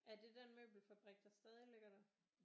Er det den møbelfabrik der stadig ligger der